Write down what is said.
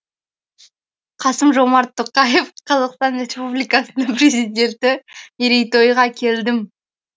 қасым жомарт тоқаев қазақстан республикасының президенті мерейтойға келдім